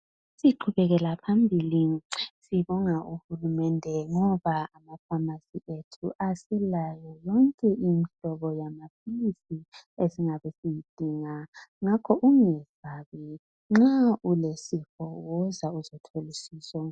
Siqhubekela phambili sibonga uHulumende ngoba amafamasi ethu aselayo yonke indleko yamaphilisi esingabe siwadinga ngakho ungesabi ulesifo woza uzothola usizo